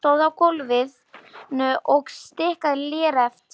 Hann stóð á gólfinu og stikaði léreft.